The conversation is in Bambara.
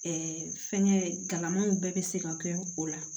Ɛɛ fɛnkɛ kalanmanw bɛɛ be se ka kɛ o la